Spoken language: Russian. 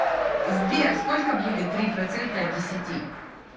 сбер сколько будет три процента от десяти